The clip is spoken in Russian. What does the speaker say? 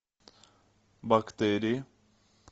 бактерии